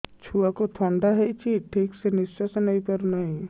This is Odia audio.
ଛୁଆକୁ ଥଣ୍ଡା ହେଇଛି ଠିକ ସେ ନିଶ୍ୱାସ ନେଇ ପାରୁ ନାହିଁ